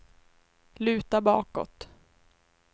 luta bakåt